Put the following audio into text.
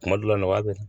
Kuma dɔ la nɔgɔya bɛ